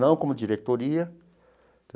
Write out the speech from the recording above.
Não como diretoria.